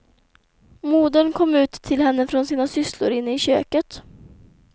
Modern kom ut till henne från sina sysslor inne i köket.